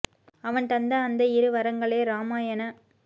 அவன் தந்த அந்த இரு வரங்களே இராமாயணக்